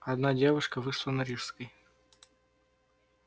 одна девушка вышла на рижской